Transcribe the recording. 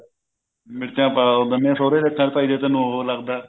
ਮਿਰਚਾਂ ਪਾ ਦਿੰਨੇ ਆ ਸੋਹਰੇ ਦੀਆਂ ਅੱਖਾ ਚ ਭਾਈ ਜੇ ਤੈਨੂੰ ਉਹ ਲੱਗਦਾ